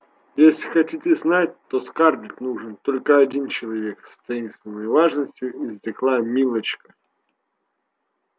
если хотите знать то скарлетт нужен только один человек с таинственной важностью изрекла милочка